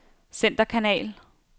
centerkanal